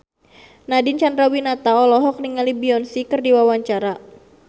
Nadine Chandrawinata olohok ningali Beyonce keur diwawancara